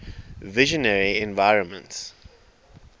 visionary environments